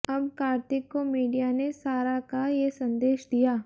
अब कार्तिक को मीडिया ने सारा का ये संदेश दिया